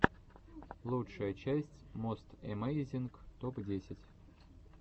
лучшая часть мост эмейзинг топ десять